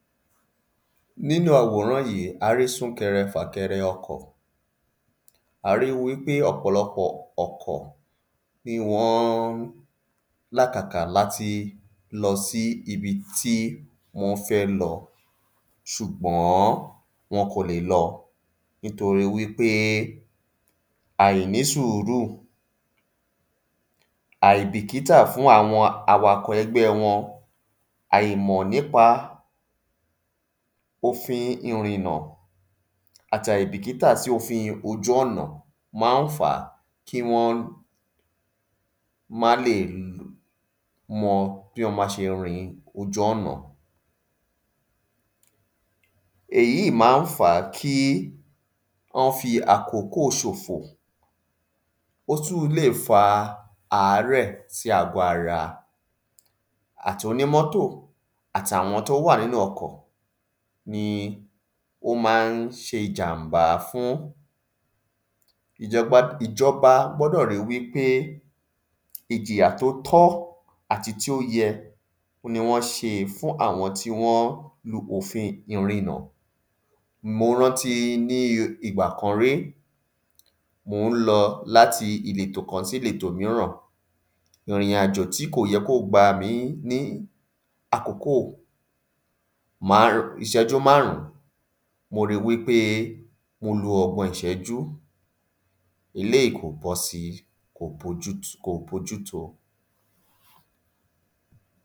﻿Nínu àwòrán yí, a rí súkẹrẹ, fàkẹrẹ ọkọ̀, a ri wípé ọ̀pọ̀lọpọ̀ ọkọ̀ ni wọ́n n làkàkà láti lọsí ibi tí wọ́n fẹ́ lọ, sùgbọ́n wọn kò lè lọ nítorí wípé àìnísùúrù, àìbìkítà fún àwọn awakọ̀ ẹgbẹ́ wọn, àìmọ̀ nípa ofin ìrìnà àti àìbìkítà sí òfin ojúọ̀nà má n fá kí wọ́n má lè mọ bí wọ́n ma ṣe rin ojú ọ̀nà. Èyí má n fà kí wọ́n fi àkókò ṣọ̀fọ̀, ó tún lè fa àárẹ̀ sí àgọ ara. Àti onímọ́tò àti àwọn tí ó wà nínu ọkọ̀ ni ó má n ṣe ìjànmbá fún, ìjọbad ìjọba gbọ́dò rí wípé ìjìyà tí ó tọ́ àti tí ó yẹ òhun ni wọ́n ṣe fún àwọn tí wọ́n rú ọ̀fin ìrinà. Mo rántí ní ìgbà kan rí, mò n lọ láti ìletò kan sí ìletò míràn, ìrìnàjò tí kò yẹ kí ó gbà mí ní àkókò má, ìṣẹ́jú máàrún, mo ri wípé mo lo ọgbọ̀n ìṣẹ́jú, eléyì kò bọ́si, kò bójú, kò bójú to.